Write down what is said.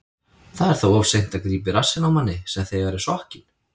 Það er þá of seint að grípa í rassinn á manni sem þegar er sokkinn.